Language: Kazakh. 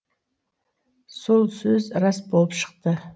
сол сөз рас болып шықты